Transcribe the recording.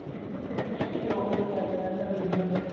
ਓਹੋ ਤਾਂ ਮੈਂ ਕਹਿਣ ਢਯਾ ਵੇਖ ਲਾ